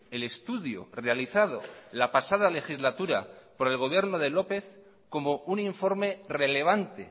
el estudio realizado la pasada legislatura por el gobierno de lópez como un informe relevante